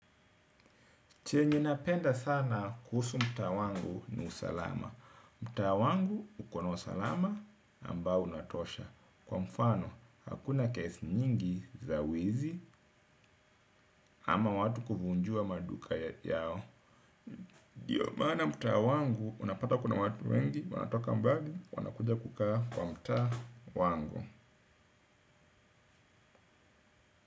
Chenye na penda sana kuhusu mtaa wangu ni usalama. Mtaa wangu ukona usalama ambao unatosha. Kwa mfano, hakuna kesi nyingi za wizi ama watu kuvunjua maduka yao. Ndiyo maana mtaa wangu, unapata kuna watu wengi, wanatoka mbali, wanakuja kukaa kwa mtaa wangu.